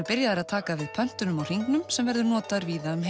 byrjaðir að taka við pöntunum á hringnum sem verður notaður víða um